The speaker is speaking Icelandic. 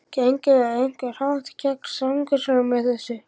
Göngum við á einhvern hátt gegn samkeppnislögum með þessu?